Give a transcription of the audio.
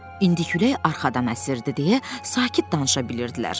İndi külək arxadan əsirdi deyə sakit danışa bilirdilər.